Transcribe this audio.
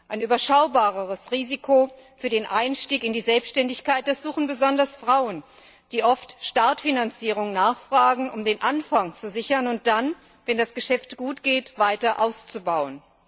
Ein überschaubareres Risiko für den Einstieg in die Selbständigkeit, das suchen besonders Frauen, die oft Startfinanzierungen nachfragen, um den Anfang zu sichern und dann, wenn das Geschäft gut geht, weiter auszubauen.